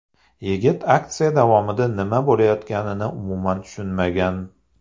Yigit aksiya davomida nima bo‘layotganini umuman tushunmagan.